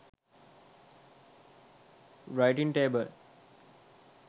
writing table